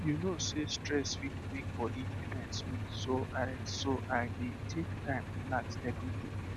you know sey stress fit make body defence weak so i so i dey take time relax every day